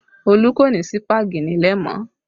Olu kò ní sípàgì nílé mọ́